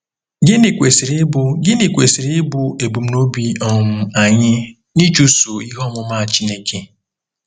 Gịnị kwesịrị ịbụ Gịnị kwesịrị ịbụ ebumnobi um anyị n'ịchụso ihe ọmụma Chineke?